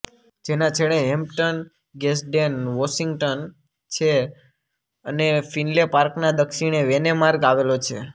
જેના છેડે Hampton Gadsden Washington છે અને ફિનલે પાર્કના દક્ષિણે વેને માર્ગ આવેલો છે